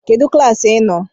Kedụ klaasị ị nọ?